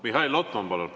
Mihhail Lotman, palun!